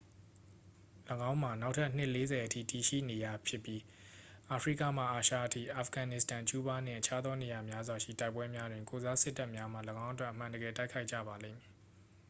၎င်းမှာ နောက်ထပ် နှစ် 40 အထိတည်ရှိနေရဖြစ်ပြီး အာဖရိကမှ အာရှအထိ အာဖဂန်နစ္စတန် ကျူးဘားနှင့် အခြားသောနေရာများစွာရှိ တိုက်ပွဲများတွင် ကိုယ်စားစစ်တပ်များမှ ၎င်းအတွက် အမှန်တကယ်တိုက်ခိုက်ကြပါလိမ့်မည်